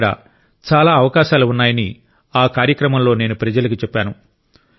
ఇక్కడ చాలా అవకాశాలు ఉన్నాయని ఆ కార్యక్రమంలో నేను ప్రజలకు చెప్పాను